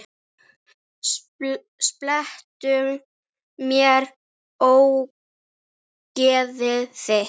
Slepptu mér, ógeðið þitt!